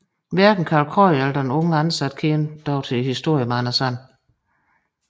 Hverken Karl Krøyer eller den unge ansatte kendte dog historien med Anders And